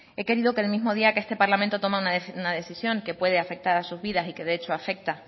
he querido que el mismo día que este parlamento toma una decisión que puede afectar a sus vidas y que de hecho afecta